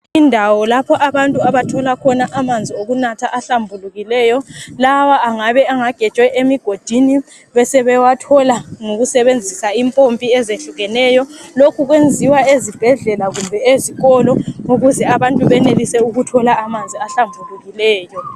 Indawo lapha abantu abathola khona amanzi okunatha ahlambulukileyo lawa engabe angagejwe emigodini bese bawathola ngokusebenzisa impopi ezehlukeneyo lokhu kuyenziwa ezibhedlela kumbe ezikolo ukuze abantu benelise kuthola amanzi ahlambhulukileyo